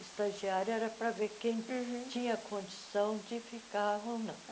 Estagiária era pra ver quem uhum tinha condição de ficar ou não.